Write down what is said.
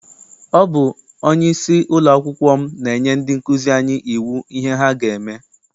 Ọ bụ onyeisi ụlọakwụkwọ m na-enye ndị nkụzi anyi iwu ihe ha ga-eme.